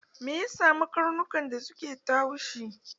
Me ya samu karnukan da suke ta haushi?